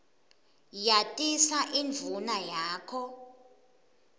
yatisa indvuna yakho